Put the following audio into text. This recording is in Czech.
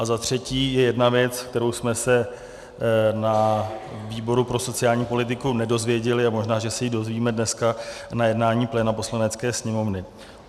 A za třetí, je jedna věc, kterou jsme se na výboru pro sociální politiku nedozvěděli a možná, že se ji dozvíme dneska na jednání pléna Poslanecké sněmovny.